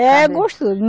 É gostoso.